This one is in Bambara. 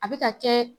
A bɛ ka kɛ